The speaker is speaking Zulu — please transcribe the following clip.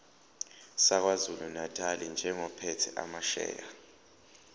sakwazulunatali njengophethe amasheya